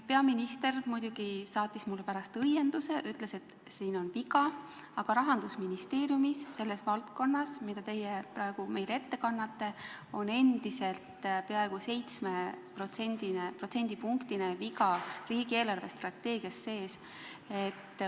Peaminister muidugi saatis mulle pärast õienduse ja ütles, et siin on viga, aga Rahandusministeeriumis on selles valdkonnas, mida teie praegu meile ette kannate, endiselt peaaegu 7% ulatuses viga riigi eelarvestrateegias sees.